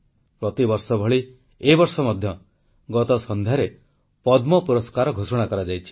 ପ୍ରତିବର୍ଷ ଭଳି ଏ ବର୍ଷ ମଧ୍ୟ ଗତ ସନ୍ଧ୍ୟାରେ ପଦ୍ମ ପୁରସ୍କାର ଘୋଷଣା କରାଯାଇଛି